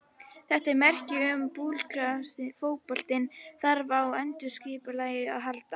Þetta er merki um að búlgarski fótboltinn þarf á endurskipulagningu að halda.